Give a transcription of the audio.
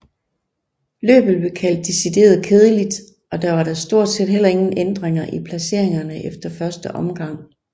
Løbet blev kaldt decideret kedeligt og der var da stort set heller ingen ændringer i placeringerne efter første omgang